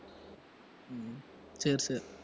சரி சரி